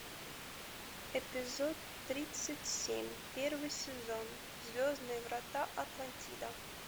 эпизод тридцать семь первый сезон звездные врата атлантида